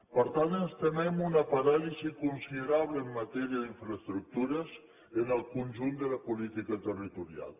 per tant ens temem una paràlisi considerable en matèria d’infraestructures en el conjunt de la política territorial